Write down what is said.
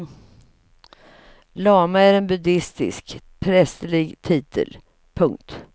Lama är en buddistisk prästerlig titel. punkt